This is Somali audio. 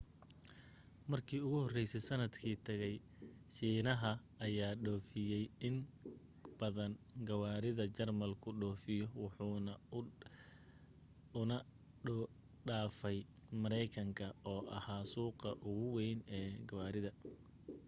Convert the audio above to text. markii ugu horeysay sanadkii tagay shiinaha ayaa dhoofiyay in badan gawaarida jarmalku dhoofiyo waxa uuna dhaafay mareykanka oo ahaa suuqa ugu weyn ee gawaarida